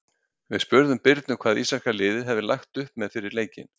Við spurðum Birnu hvað íslenska liðið hafði lagt upp með fyrir leikinn.